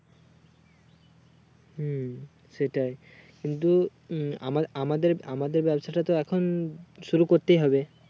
হুম সেটাই কিন্তু উম আমার~আমাদের আমাদের ব্যবসাটা তো এখন শুরু করতেই হবে